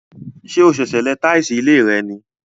Ṣé o sèsè lẹ táìsì ilé rẹ ní?